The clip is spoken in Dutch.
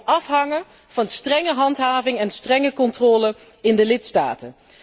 Dat zal ook afhangen van strenge handhaving en strenge controle in de lidstaten.